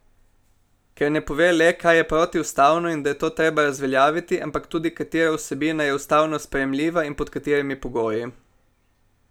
Ker ne pove le, kaj je protiustavno in da je to treba razveljaviti, ampak tudi, katera vsebina je ustavno sprejemljiva in pod katerimi pogoji.